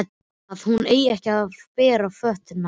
Að hún eigi ekki að bera fötuna.